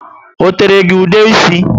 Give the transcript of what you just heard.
O tere gị ude ísì?